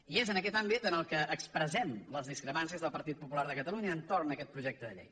i és en aquest àmbit en què expressem les discrepàncies del partit popular de catalunya entorn d’aquest projecte de llei